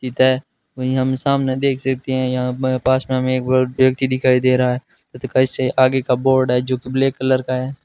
वही हम सामने देख सकते हैं यहां पर पास में हमें एक बड़ व्यक्ति दिखाई दे रहा है कैसे आगे का बोर्ड है जो ब्लैक कलर का है?